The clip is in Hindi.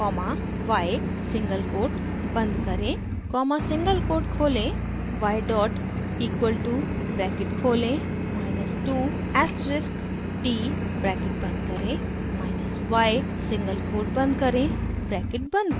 कॉमा y सिंगल कोट बंद करें कॉमा सिंगल कोट खोलें y dot equal to bracket खोलें माइनस 2 asterisk t ब्रैकेट बंद करें माइनस y सिंगल कोट बंद करें ब्रैकेट बंद करें